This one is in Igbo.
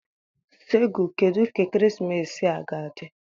Segu, kedu ka ekeresimesi a ga-adị?